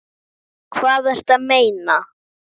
Hvað ertu að meina?